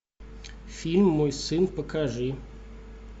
фильм мой сын покажи